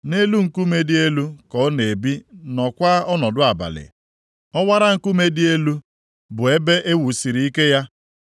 Nʼelu nkume dị elu ka ọ na-ebi nọọkwa ọnọdụ abalị; ọwara nkume dị elu bụ ebe e wusiri ike ya.